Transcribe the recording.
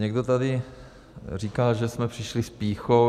Někdo tady říkal, že jsme přišli s pýchou.